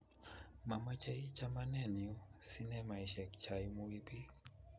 Mamachei chamanenyu sinemaishek chaimuii biik